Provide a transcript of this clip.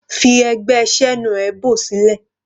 Fi ẹgbẹ́ Senuebo sílẹ̀.